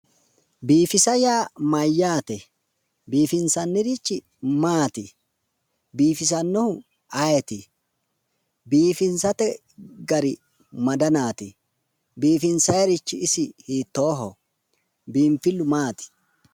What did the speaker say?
Biifisa yaa mayyaate? Biifinsannirichi maati? Biifisannohu ayeeti ? Biifisate gari ma danaati? Biifinsayirichi isi hiittooho? Biinfillu maati?